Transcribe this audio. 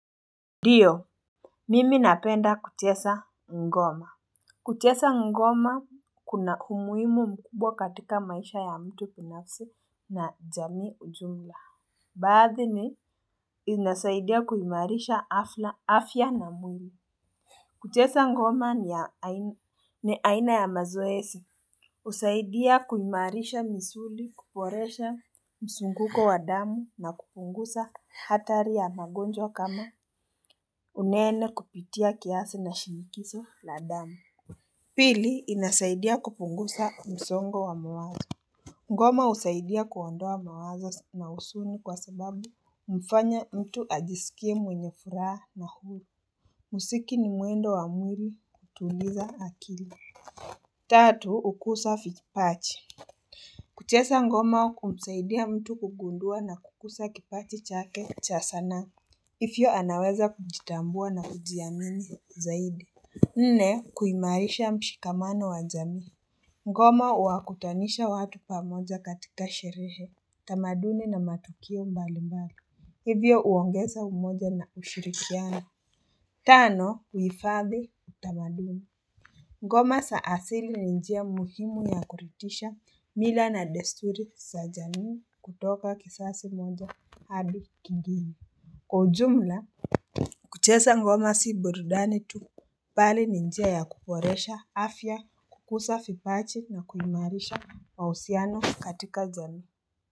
Ndiyo, mimi napenda kucheza ngoma. Kucheza ngoma kuna umuhimu mkubwa katika maisha ya mtu binafsi na jamii ujumla. Baadhi ni, inasaidia kuimarisha afya na mwili. Kucheza ngoma ni aina ya mazoezi. Husaidia kuimarisha misuli, kuboresha msunguko wa damu na kupunguza hatari ya magonjwa kama Unene kupitia kiasi na shinikizo la damu Pili inasaidia kupunguza msongo wa mawazo Ngoma husaidia kuondoa mawazo na huzuni kwa sababu humfanya mtu ajisikie mwenye furaha nafuu Muziki ni muundo wa mwili kutuliza akili Tatu hukuza vipaji. Kucheza ngoma humsaidia mtu kugundua na kukuza kipaji chake cha sanaa Hivyo anaweza kujitambua na kujiamini zaidi. Nne kuimarisha mshikamano wa jamii Ngoma huwakutanisha watu pamoja katika sherehe, tamaduni na matukio mbali mbali. Hivyo huongeza umoja na ushirikiano. Tano huhifadhi utamaduni. Ngoma za asili ni njia muhimu ya kuridhisha mila na desturi za jamii kutoka kizazi moja hadi kingine. Kwa ujumla kucheza ngoma si burudani tu, bali ni njia ya kuboresha afya, kukuza vipaji na kuimarisha mahusiano katika jamii.